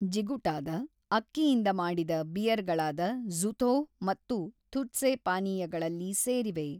ಜಿಗುಟಾದ ಅಕ್ಕಿಯಿಂದ ಮಾಡಿದ ಬಿಯರ್‌ಗಳಾದ ಝುಥೋ ಮತ್ತು ಥುಟ್ಸೆ ಪಾನೀಯಗಳಲ್ಲಿ ಸೇರಿವೆ.